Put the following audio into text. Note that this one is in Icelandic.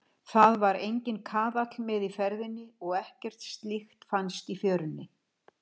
Það var enginn kaðall með í ferðinni og ekkert slíkt fannst í fjörunni.